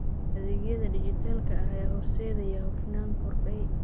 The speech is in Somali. Adeegyada dijitaalka ah ayaa horseedaya hufnaan korodhay.